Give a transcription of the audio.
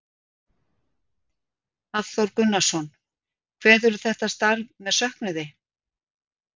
Hafþór Gunnarsson: Kveðurðu þetta starf með söknuði?